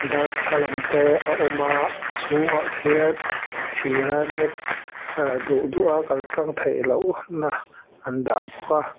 darthlalang te a awm a a chhungah khian thira net ahh duh duh a kaltlang theihloh na andah bawk a--